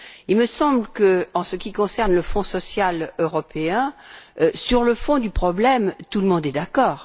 Il me semble qu'en ce qui concerne le Fonds social européen, sur le fond du problème, tout le monde est d'accord.